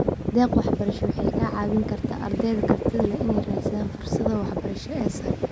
Deeq-waxbarasho waxay ka caawin kartaa ardayda kartida leh inay raadsadaan fursadaha waxbarasho ee sare.